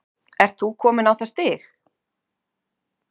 Ert þú kominn á það stig?